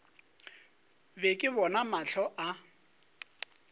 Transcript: be ke bona mahlo a